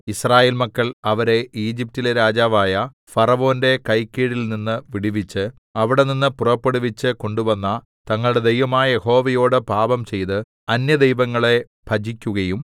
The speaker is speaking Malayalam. യിസ്രായേൽ മക്കൾ അവരെ ഈജിപ്റ്റിലെ രാജാവായ ഫറവോന്റെ കൈക്കീഴിൽനിന്ന് വിടുവിച്ച് അവിടെനിന്ന് പുറപ്പെടുവിച്ച് കൊണ്ടുവന്ന തങ്ങളുടെ ദൈവമായ യഹോവയോട് പാപംചെയ്ത് അന്യദൈവങ്ങളെ ഭജിക്കുകയും